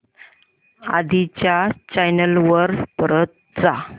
आधी च्या चॅनल वर परत जा